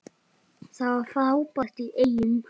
Það var frábært í Eyjum.